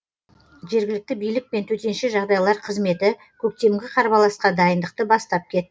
жергілікті билік пен төтенше жағдайлар қызметі көктемгі қарбаласқа дайындықты бастап кетті